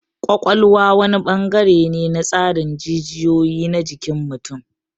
Ƙwaƙwalwa wani bangare ne na tsarin jijiyoyi na jikin mutum.